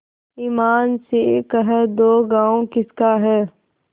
ईमान से कह दो गॉँव किसका है